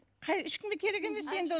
қай ешкімге керек емес енді